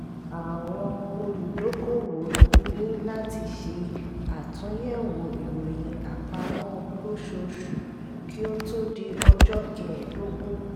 àwọn olùdókòwò ní láti ṣe àtúnyẹ̀wò ìròyìn àpamọ́ lóṣooṣù kí ó tó di ọjọ́ kẹèdógún